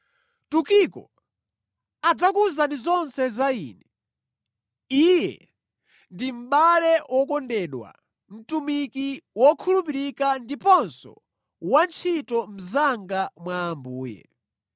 Tukiko adzakuwuzani zonse za ine. Iye ndi mʼbale wokondedwa, mtumiki wokhulupirika ndiponso wantchito mnzanga mwa Ambuye.